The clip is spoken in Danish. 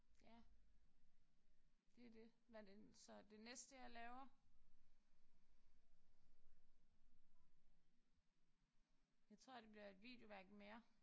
Ja. Det er det. Hvad er det så det næste jeg laver jeg tror det bliver et videoværk mere